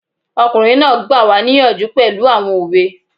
Ọkùnrin náà gbà wá níyànjú pẹ̀lú àwọn òwe